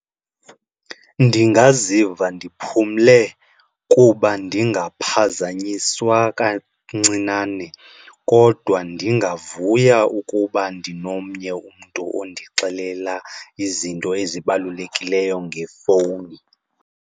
Ndingaziva ndiphumle kuba ndingaphazanyiswa kancinane kodwa ndingavuya ukuba ndinomnye umntu ondixelela izinto ezibalulekileyo ngefowuni.